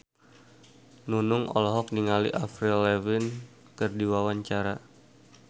Nunung olohok ningali Avril Lavigne keur diwawancara